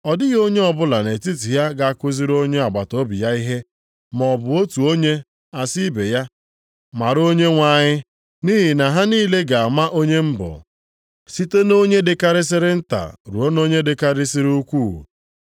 Ọ dịghị onye ọbụla nʼetiti ha ga-akụziri onye agbataobi ya ihe, maọbụ otu onye asị ibe ya, ‘Mara Onyenwe anyị,’ nʼihi na ha niile ga-ama onye m bụ, site nʼonye dịkarịsịrị nta ruo nʼonye dịkarịsịrị ukwuu.